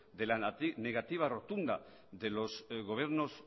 de la negativa rotunda de los gobiernos